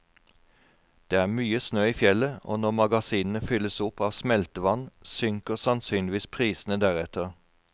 Det er mye snø i fjellet, og når magasinene fylles opp av smeltevann, synker sannsynligvis prisene deretter.